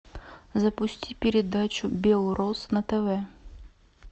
запусти передачу белрос на тв